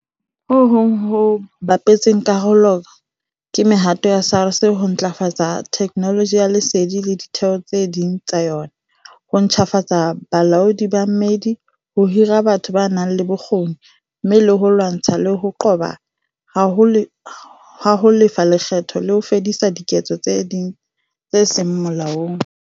Ho hong ho bapetseng karolo ke mehato ya SARS ya ho ntlafatsa theknoloji ya lesedi le ditheo tse ding tsa yona, ho ntjhafatsa bolaodi ba mmedi, ho hira batho ba nang le bokgoni, mme le ho lwantshana le ho qoba ha ho lefa lekgetho le ho fedisa diketso tse seng molaong.